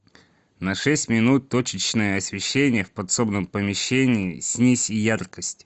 на шесть минут точечное освещение в подсобном помещении снизь яркость